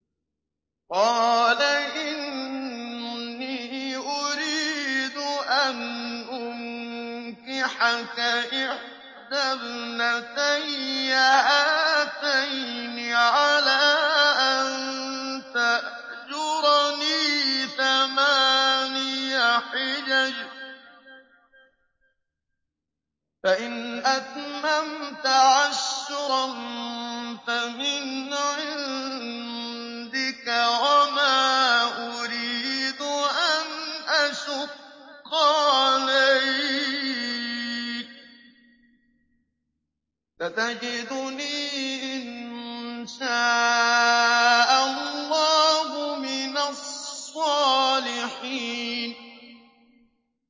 قَالَ إِنِّي أُرِيدُ أَنْ أُنكِحَكَ إِحْدَى ابْنَتَيَّ هَاتَيْنِ عَلَىٰ أَن تَأْجُرَنِي ثَمَانِيَ حِجَجٍ ۖ فَإِنْ أَتْمَمْتَ عَشْرًا فَمِنْ عِندِكَ ۖ وَمَا أُرِيدُ أَنْ أَشُقَّ عَلَيْكَ ۚ سَتَجِدُنِي إِن شَاءَ اللَّهُ مِنَ الصَّالِحِينَ